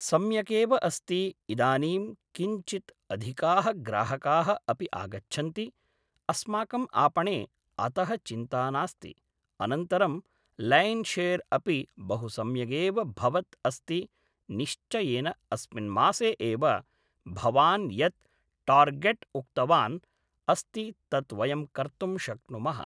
सम्यकेव अस्ति इदानीं किञ्चित् अधिकाः ग्राहकाः अपि आगच्छन्ति अस्माकम् आपणे अतः चिन्ता नास्ति अनन्तरं लैन् शेर् अपि बहु सम्यगेव भवत् अस्ति निश्चयेन अस्मिन् मासे एव भवान् यत् टार्गेट् उक्तवान् अस्ति तत् वयं कर्तुं शक्नुमः